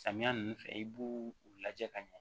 Samiya nunnu fɛ i b'u u lajɛ ka ɲɛ